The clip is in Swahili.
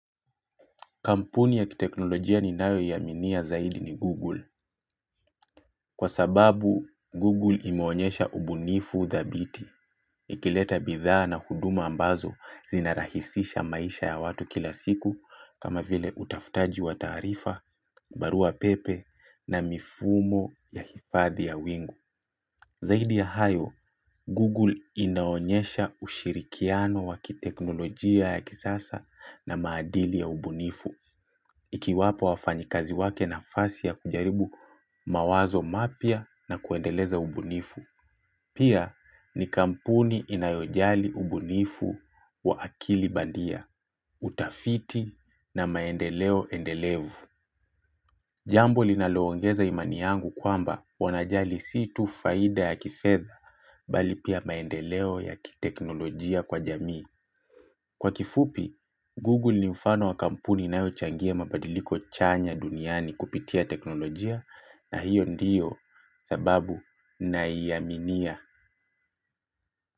Kampuni ya kiteknolojia ninayoiaminia zaidi ni Google. Kwa sababu, Google imeonyesha ubunifu dhabiti. Ikileta bidhaa na huduma ambazo zinarahisisha maisha ya watu kila siku kama vile utafutaji wa taarifa, barua pepe na mifumo ya hifadhi ya wingu. Zaidi ya hayo, Google inaonyesha ushirikiano wa kiteknolojia ya kisasa na maadili ya ubunifu. Ikiwapo wafanyikazi wake nafasi ya kujaribu mawazo mapya na kuendeleza ubunifu Pia ni kampuni inayojali ubunifu wa akili bandia. Utafiti na maendeleo endelevu Jambo linaloongeza imani yangu kwamba wanajali si tu faida ya kifedha, bali pia maendeleo ya kiteknolojia kwa jamii Kwa kifupi, Google ni mfano wa kampuni inayo changia mabadiliko chanya duniani kupitia teknolojia na hiyo ndiyo sababu naiaminia.